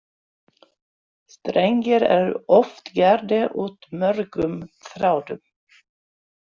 Strengir eru oft gerðir út mörgum þráðum.